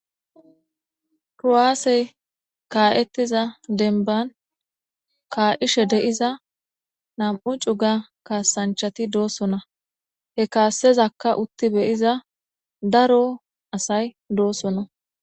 Kuwaasey ka'etiza dembani ka'idhe de'iza nam'u cuga kasanchato dosona he kasazaka uti beyiza daro asati dosona